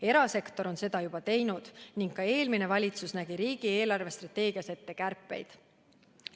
Erasektor on seda juba teinud ning ka eelmine valitsus nägi riigi eelarvestrateegias ette kärpeid.